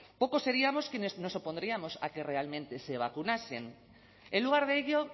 pocos seríamos quienes nos opondríamos a que realmente se vacunasen en lugar de ello